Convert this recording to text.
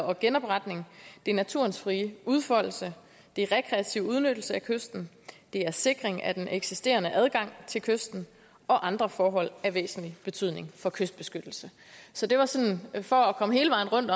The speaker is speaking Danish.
og genopretning naturens frie udfoldelse rekreativ udnyttelse af kysten sikring af den eksisterende adgang til kysten og andre forhold af væsentlig betydning for kystbeskyttelse så det var sådan for at komme hele vejen rundt